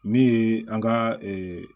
Min ye an ka